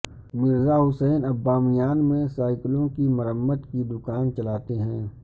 مرزا حسین اب بامیان میں سائیکلوں کی مرمت کی دکان چلاتے ہیں